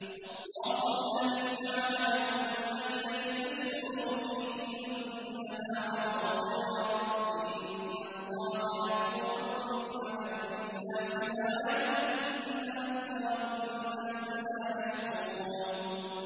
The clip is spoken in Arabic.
اللَّهُ الَّذِي جَعَلَ لَكُمُ اللَّيْلَ لِتَسْكُنُوا فِيهِ وَالنَّهَارَ مُبْصِرًا ۚ إِنَّ اللَّهَ لَذُو فَضْلٍ عَلَى النَّاسِ وَلَٰكِنَّ أَكْثَرَ النَّاسِ لَا يَشْكُرُونَ